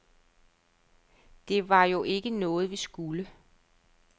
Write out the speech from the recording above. Det var jo ikke noget, vi skulle.